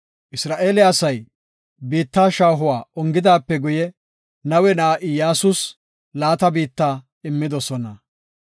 Isra7eele asay biitta shaahuwa ongida wode, Nawe na7aa Iyyasus laata biitta immidosona.